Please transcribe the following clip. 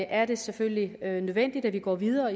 er det selvfølgelig nødvendigt at vi går videre